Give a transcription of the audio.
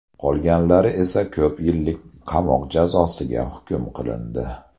Qolganlari esa ko‘p yillik qamoq jazosiga hukm qilindi.